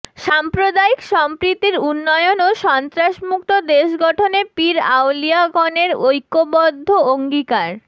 সাম্প্রদায়িক সম্প্রীতির উন্নয়ন ও সন্ত্রাসমুক্ত দেশ গঠনে পীর আউলিয়াগণের ঐক্যবদ্ধ অঙ্গীকার